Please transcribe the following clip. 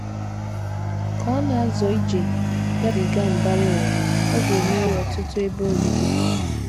Ka ọ na - azọ ije gabiga “ mbara ụwa, ” ọ ga - emeri ọtụtụ ebe obibi.